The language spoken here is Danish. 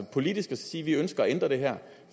politisk side ønsker at ændre det her